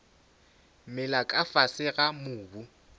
mela ka fase ga mobu